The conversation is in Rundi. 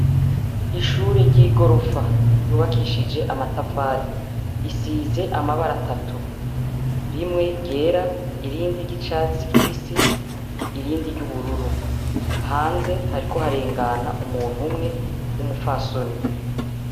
Ishure ryigorofa ryubakishije amatafari risize amabara atatu rimwe ryera, irindi ryicatsi kibisi, irindi ryubururu hanze hariko harengana umuntu umwe wumupfasoni.